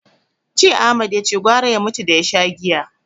Jiya Ahmad yace gwara ya mutu da ya sha giya.